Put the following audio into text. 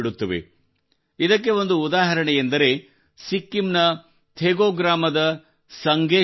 ಇದಕ್ಕೆ ಒಂದು ಉದಾಹರಣೆಯೆಂದರೆ ಸಿಕ್ಕಿಂನ ಥೆಗೂ ಗ್ರಾಮದ ಸಂಗೆ ಶೆರ್ಪಾ ಅವರು